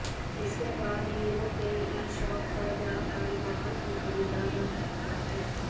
इसके बाद हीरो के ईशॉप पर जाकर वाहन को खरीदा जा सकता है